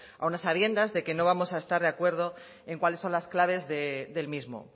aun a sabiendas que no vamos a estar de acuerdo en cuáles son las claves del mismo